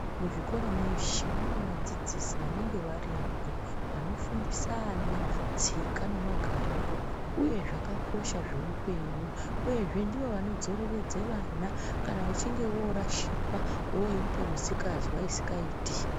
Muzvikora mweshe mune vadzidzisi vanenga varipo vanofundisa ana tsika nemagariro uye zvakakosha zvoupenyu, uyezve ndivo vanodzoreredze vana kana vachinge vorashikwa, voite misikazwa isikaiti.